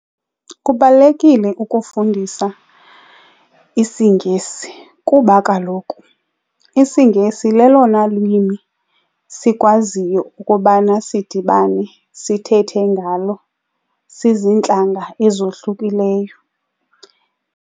Kubalulekile ukufundisa isiNgesi kuba kaloku isiNgesi lelona lwimi sikwaziyo ukubana sidibane sithethe ngalo siziintlanga ezohlukileyo.